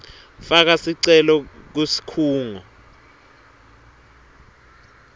faka sicelo kusikhungo